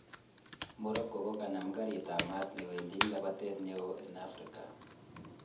Morocco kokanam garit ap maat newendii en lapatet neo en afrika